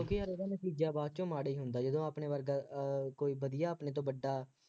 ਕਿਉਂਕਿ ਯਾਰ ਉਹਦਾ ਨਤੀਜਾ ਬਾਅਦ ਚ ਮਾੜਾ ਹੀ ਹੁੰਦਾ ਜਦੋਂ ਆਪਣੇ ਵਰਗਾ ਅਹ ਕੋਈ ਵਧੀਆ ਆਪਣੇ ਤੋਂ ਵੱਡਾ